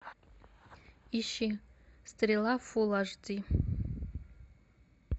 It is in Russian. ищи стрела фул аш ди